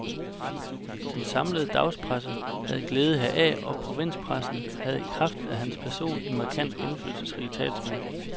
Den samlede dagspresse havde glæde heraf, og provinspressen havde i kraft af hans person en markant, indflydelsesrig talsmand.